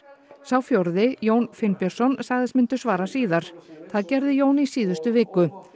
sá fjórði Jón Finnbjörnsson sagðist myndu svara síðar það gerði Jón í síðustu viku